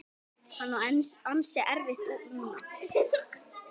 Hún á ansi erfitt núna.